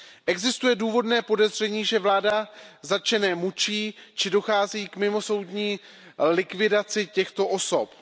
Existuje důvodné podezření, že vláda zatčené mučí či dochází k mimosoudní likvidaci těchto osob.